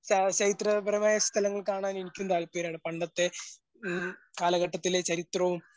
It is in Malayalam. പരമായ സ്ഥലങ്ങൾ കാണാൻ എനിക്കും താല്പര്യമാണ്. പണ്ടത്തെ ഉം കാലഘട്ടത്തിലെ ചരിത്രവും,